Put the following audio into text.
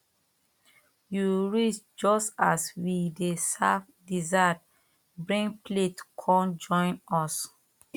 you reach just as we dey serve dessert bring plate come join us